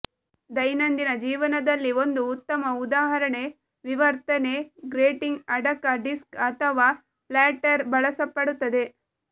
ದೈನಂದಿನ ಜೀವನದಲ್ಲಿ ಒಂದು ಉತ್ತಮ ಉದಾಹರಣೆ ವಿವರ್ತನೆ ಗ್ರೇಟಿಂಗ್ ಅಡಕ ಡಿಸ್ಕ್ ಅಥವಾ ಫ್ಲ್ಯಾಟರ್ ಬಳಸಲ್ಪಡುತ್ತದೆ